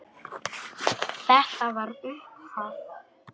Þetta var upphaf.